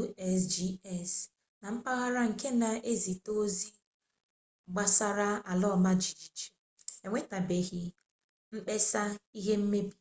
usgs na mpaghara nke na-ezite ozi gbasara ala ọma jijiji enwetabeghị mkpesa ihe mmebi